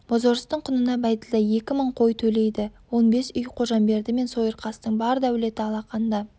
бозорыстың құнына бәйділда екі мың қой төлейді он бес үй қожамберді мен сойырқастың бар дәулеті алақанда